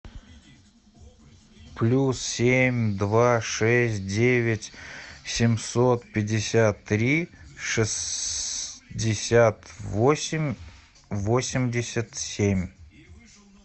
плюс семь два шесть девять семьсот пятьдесят три шестьдесят восемь восемьдесят семь